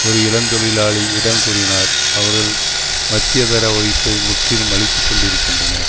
ஒரு இளந்தொழிலாளி இடம் கூறினார் அவர்கள் மத்தியதர வகுப்பை முற்றிலும் அழித்து கொண்டிருக்கின்றனர்